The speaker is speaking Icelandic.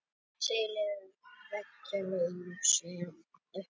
Hér á landi lifir veggjalús eingöngu í upphituðu þurru húsnæði.